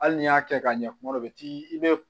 Hali n'i y'a kɛ ka ɲɛ kuma dɔw bɛ t'i bɛ